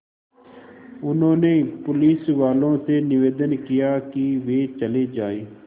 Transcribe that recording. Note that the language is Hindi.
उन्होंने पुलिसवालों से निवेदन किया कि वे चले जाएँ